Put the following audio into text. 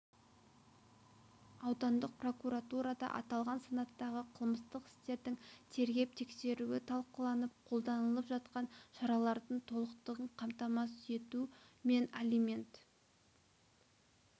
аудандық прокуратурада аталған санаттағы қылмыстық істердің тергеп-тексеруі талқыланып қолданылып жатқан шаралардың толықтығын қамтамасыз ету мен алимент